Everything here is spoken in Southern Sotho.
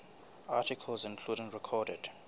articles including recorded